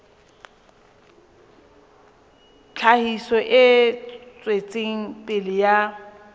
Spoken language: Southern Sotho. tlhahiso e tswetseng pele ya